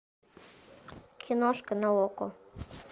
киношка на окко